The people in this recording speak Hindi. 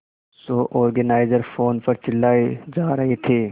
शो ऑर्गेनाइजर फोन पर चिल्लाए जा रहे थे